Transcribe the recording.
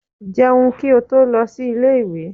Jẹun kí ó tó lọ sí ilé ìwé!